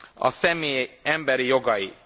a személy emberi jogai.